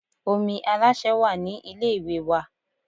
Omi Aláṣẹ wà ní ilé ìwẹ̀ wa